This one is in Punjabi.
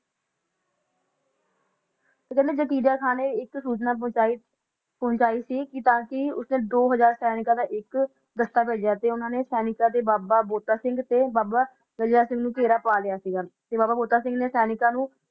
ਤੇ ਜਕਰਿਆ ਖਾ ਨੇ ਇਕ ਸੂਚਨਾ ਭੇਜੀ ਸੀ ਤਾ ਕੀ ਉਸਨੇ ਵੀਹ ਸੈਨਿਕ ਦਾ ਦਸਤਾ ਭੇਜਿਆ ਸੀ ਉਨੇ ਨੇ ਬਾਬਾ ਬੰਤਾ ਸਿੰਘ ਤੇ ਬਾਬਾ ਗਰਜਾ ਸਿੰਘ ਨੂੰ ਘੇਰਾ ਪਾ ਲਿਆ ਸੀ ਬਾਬਾ ਬੰਤਾ ਸਿੰਘ ਨੇ ਬਾਬਾ ਬੋਤਾ ਸਿੰਘ ਨੇ ਸੈਨਿਕਾਂ ਨੂੰ ਵਗਾਰੀਆ